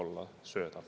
Aitäh!